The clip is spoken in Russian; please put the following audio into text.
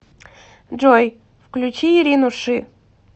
джой включи ирину ши